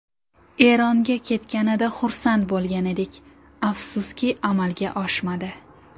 Eronga ketganida xursand bo‘lgan edik, afsuski amalga oshmadi.